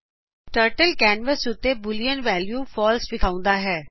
turtle canvas ਉਤੇ boolean values false ਵਿਖਾਉਂਦਾ ਹੈ